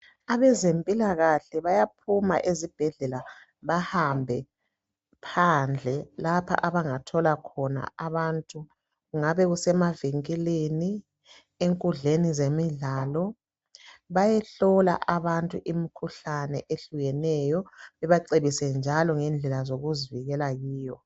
Abezempilakahle bayaphuma ezibhendlela bahambe phandle lapho abangathola khona abantu kungabe kusemavinkilini, enkundleni zemidlalo bayehlola abantu imkhuhlane eyehlukeneyo bebacebise njalo ngendlela zokuzivikela kiyo.